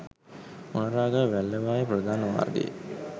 මොණරාගල වැල්ලවාය ප්‍රධාන මාර්ගයේ